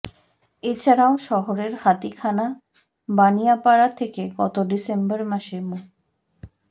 এছাড়াও শহরের হাতিখানা বানিয়াপাড়া থেকে গত ডিসেম্বর মাসে মো